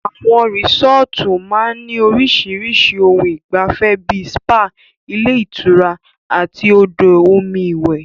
Àwọn resọ́ọ́tu máa ń ní orísirísi ohun ìgbafẹ́ bíi spa, ilé ìtura àti odò omi iwẹ̀.